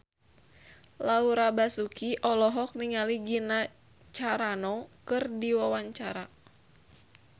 Laura Basuki olohok ningali Gina Carano keur diwawancara